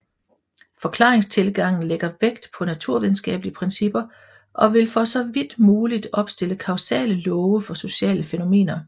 Forklaringstilgangen lægger vægt på naturvidenskabelige principper og vil for så vidt muligt opstille kausale love for sociale fænomener